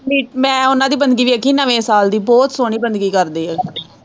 ਮੈਂ ਉਹਨਾਂ ਦੀ ਬੰਦਗੀ ਦੇਖੀ ਨਵੇਂ ਸਾਲ ਦੀ ਬਹੁਤ ਸੋਹਣੀ ਬੰਦਗੀ ਕਰਦੇ ਹੈ ਉਹ।